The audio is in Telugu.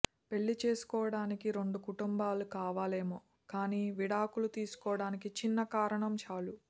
పెళ్లి చేసుకోవడానికి రెండు కుటుంబాలు కావాలేమో కానీ విడాకులు తీసుకోవడానికి చిన్న కారణం చాలు